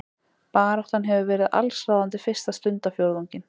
Baráttan hefur verið allsráðandi fyrsta stundarfjórðunginn